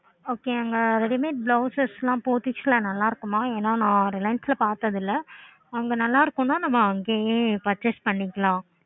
ok அங்க ready made blouses ஹம் Pothys நல்ல இருக்குமா ஏன்னா reliance லா பாத்ததில்லை அங்க நல்லாயிருக்குனா நம்ப அங்கேயே purchase பண்ணிக்கலாம்